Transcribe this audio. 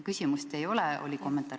Küsimust ei ole, oli kommentaar.